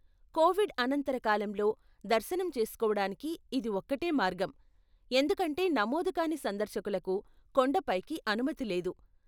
Covid అనంతర కాలంలో దర్శనం చేసుకోవడానికి ఇది ఒక్కటే మార్గం, ఎందుకంటే నమోదుకాని సందర్శకులకు కొండపైకి అనుమతి లేదు.